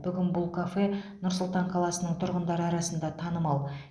бүгін бұл кафе нұр сұлтан қаласының тұрғындары арасында танымал